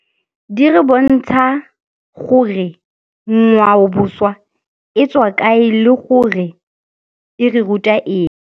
Di re bontsha gore ngwaoboswa e tswa kae le gore e re ruta eng.